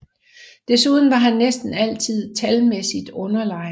Desuden var han næsten altid talmæssigt underlegen